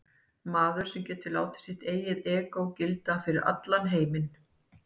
Maður sem getur látið sitt eigið egó gilda fyrir allan heiminn.